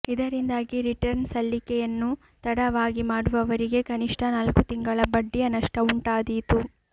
ಇದರಿಂದಾಗಿ ರಿಟರ್ನ್ ಸಲ್ಲಿಕೆಯನ್ನು ತಡವಾಗಿ ಮಾಡುವವರಿಗೆ ಕನಿಷ್ಠ ನಾಲ್ಕು ತಿಂಗಳ ಬಡ್ಡಿಯ ನಷ್ಟ ಉಂಟಾದೀತು